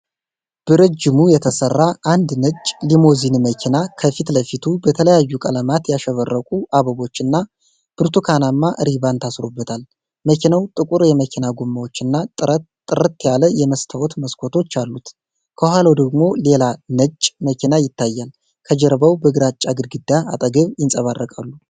በረጅሙ የተሠራ አንድ ነጭ ሊሞዚን መኪና፣ ከፊት ለፊቱ በተለያዩ ቀለማት ያሸበረቁ አበቦችና ብርቱካናማ ሪባን ታስሮበታል። መኪናው ጥቁር የመኪና ጎማዎችና ጥርት ያለ የመስታወት መስኮቶች አሉት። ከኋላው ደግሞ ሌላ ነጭ መኪና ይታያል። ከጀርባው በግራጫ ግድግዳ አጠገብ፣ ይንፀባረቃሉ።